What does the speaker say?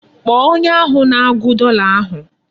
Kpọọ onye ahụ na-agụ dọla ahụ!